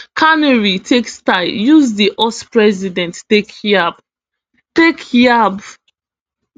carney take style use di us president take yab take yab